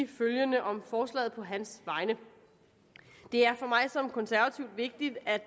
følgende om forslaget på hans vegne det er for mig som konservativ vigtigt at